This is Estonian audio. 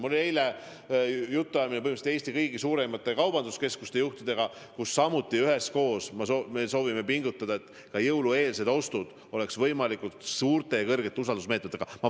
Mul oli eile jutuajamine kõigi suuremate Põhja-Eesti kaubanduskeskuste juhtidega ja me kinnitasime, et me soovime üheskoos pingutada, et jõulueelsete ostude puhul kasutataks võimalikult kindlaid usaldusmeetmeid.